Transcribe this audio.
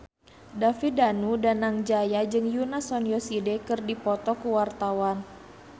David Danu Danangjaya jeung Yoona SNSD keur dipoto ku wartawan